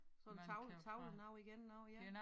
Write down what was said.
Sådan tavle tavlenoget igen noget ja